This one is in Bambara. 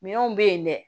Minɛnw bɛ yen dɛ